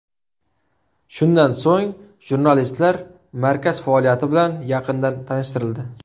Shundan so‘ng, jurnalistlar markaz faoliyati bilan yaqindan tanishtirildi.